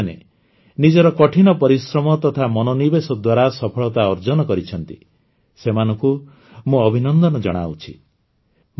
ଯେଉଁ ପିଲାମାନେ ନିଜର କଠିନ ପରିଶ୍ରମ ତଥା ମନୋନିବେଶ ଦ୍ୱାରା ସଫଳତା ଅର୍ଜନ କରିଛନ୍ତି ସେମାନଙ୍କୁ ମୁଁ ଅଭିନନ୍ଦନ ଜଣାଉଛି